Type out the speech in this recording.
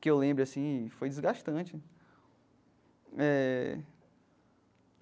Que eu lembre assim, foi desgastante eh.